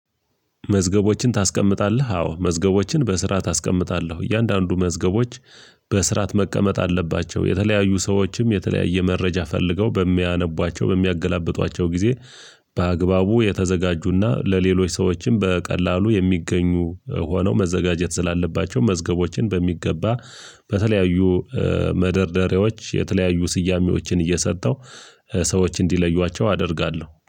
መዝገቦችን ታስቀምጣለህ አዎ መዝገቦችን በስራአት አስቀምጣለህ እያንዳንዱ መዝገቦች በስራአት መቀመጥ አለባቸው። የተለያዩ ሰዎችም የተለያየ መረጃ ፈልገው በሚያነቧቸው በሚያገላብጧቸው ጊዜ በአግባቡ የተዘጋጁና ለሌሎች ሰዎችም በቀላሉ የሚገኙ ሆነው መዘጋጀት ስላለባቸው። መዝገቦችን በሚገባ በተለያዩ መደርደሪያዎች የተለያዩ ስያሜዎችን እየሰጠው ሰዎች እንዲለዩዋቸው አደርጋለሁ